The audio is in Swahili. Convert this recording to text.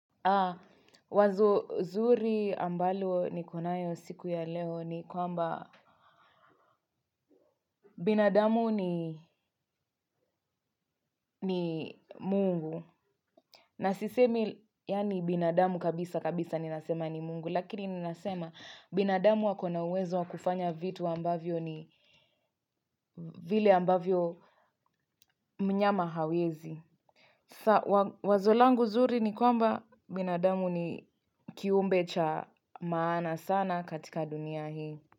A wazo zuri ambalo nikonayo siku ya leo ni kwamba binadamu ni mungu. Na sisemi yaani binadamu kabisa kabisa ninasema ni mungu lakini ninasema binadamu akona uwezo wakufanya vitu ambavyo ni vile ambavyo mnyama hawezi. Wazo langu zuri ni kwamba binadamu ni kiumbe cha maana sana katika dunia hii.